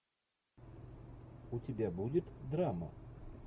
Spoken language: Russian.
у тебя будет драма